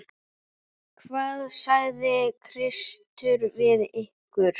Hvað sagði Kristur við ykkur?